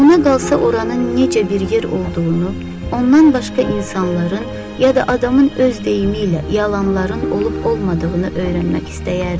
Ona qalsa oranı necə bir yer olduğunu, ondan başqa insanların ya da adamın öz deyimi ilə yalanların olub-olmadığını öyrənmək istəyərdi.